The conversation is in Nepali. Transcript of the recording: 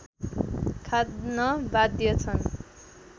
खान बाध्य छन्